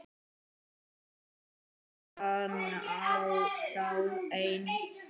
Fór hann þá einn?